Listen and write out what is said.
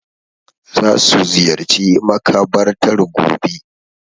Za su ziyarci makabartar gobe.